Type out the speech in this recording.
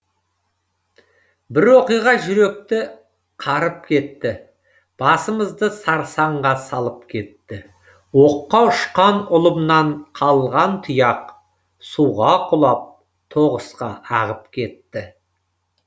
бір оқиға жүректі қарып кетті басымызды сарсаңға салып кетті оққа үшқан ұлымнан қалған тұяқ суға құлап тоғысқа ағып кетті